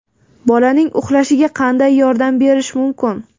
Bolaning uxlashiga qanday yordam berish mumkin?